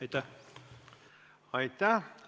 Aitäh!